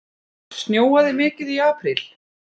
Snjóaði mikið í apríl?